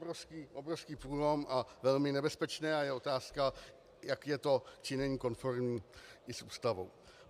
To je obrovský průlom, velmi nebezpečné a je otázka, jak je to či není konformní i s Ústavou.